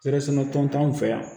tɔn t'anw fɛ yan